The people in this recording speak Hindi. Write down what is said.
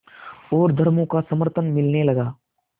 और धर्मों का समर्थन मिलने लगा